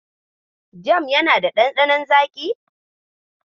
Jam yana da ɗanɗanon zaƙi.